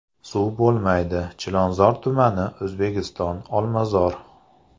Suv bo‘lmaydi: Chilonzor tumani, O‘zbekiston, Olmazor.